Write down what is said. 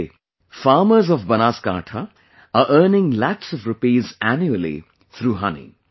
Today, farmers of Banaskantha are earning lakhs of rupees annually through honey